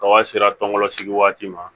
Kaba sera tɔnkolo sigi waati ma